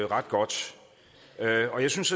ret godt og jeg synes